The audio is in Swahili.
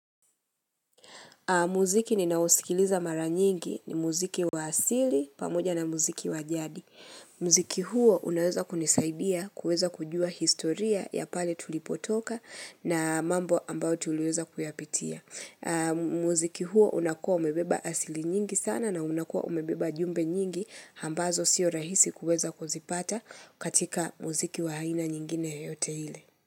Muziki ninausikiliza mara nyingi ni muziki wa asili pamoja na muziki wa jadi. Muziki huo unaweza kunisaidia, kueza kujua historia ya pale tulipotoka na mambo ambao tulieza kuyapitia. Muziki huo unakua umebeba asili nyingi sana na unakua umebeba jumbe nyingi hambazo sio rahisi kueza kuzipata katika muziki wa haina nyingine yote hile.